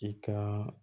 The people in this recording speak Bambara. I ka